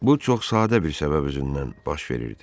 Bu çox sadə bir səbəb üzündən baş verirdi.